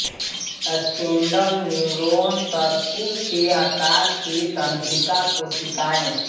spindle neuron तर्कु के आकार की तंत्रिका कोशिकाएं